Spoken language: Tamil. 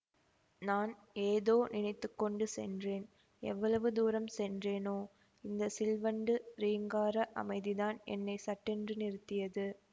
நான் ஏதோ நினைத்துக்கொண்டு சென்றேன் எவ்வளவு தூரம் சென்றேனோ இந்த சில்வண்டு ரீங்கார அமைதிதான் என்னை சட்டென்று நிறுத்தியது